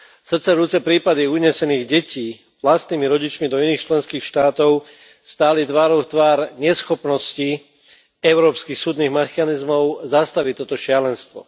Srdcervúce prípady unesených detí vlastnými rodičmi do iných členských štátov stáli tvárou v tvár neschopnosti európskych súdnych mechanizmov zastaviť toto šialenstvo.